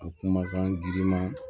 A kumakan giriman